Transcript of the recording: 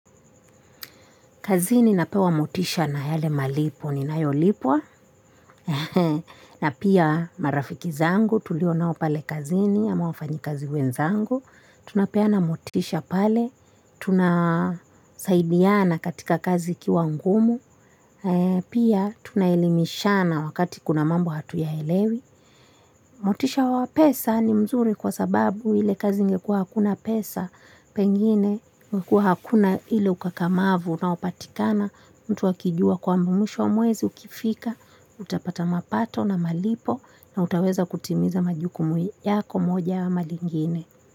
Kazini napewa motisha na yale malipo ni ninayolipwa na pia marafiki zangu tulio nao pale kazini ama wafanyi kazi wenzangu tunapeana motisha pale, tunasaidiana katika kazi ikiwa ngumu pia tunaelimishana wakati kuna mambo hatuyaelewi, motisha wa pesa ni mzuri kwa sababu ile kazi ingekua hakuna pesa pengine ingekua hakuna ile ukakamavu unaopatikana mtu akijua kwamba mwisho wa mwezi ukifika utapata mapato na malipo na utaweza kutimiza majukumu yako moja ama lingine.